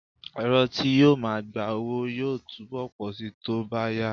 Ẹ̀̀rọ tí yóò máa gba owó yóò túbọ̀ pọ̀ síi tó bá yá